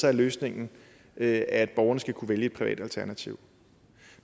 er løsningen at at borgerne skal kunne vælge et privat alternativ